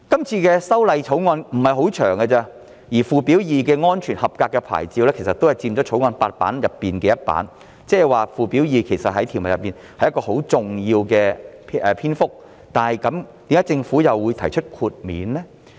《條例草案》的篇幅不太長，而附表 2" 安全合格牌照"佔《條例草案》8頁的其中一頁，即附表2也佔很重要的篇幅，但為何政府又會提出豁免呢？